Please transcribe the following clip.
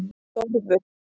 Þórður